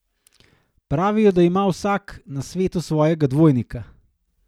Pravijo, da ima vsak na svetu svojega dvojnika.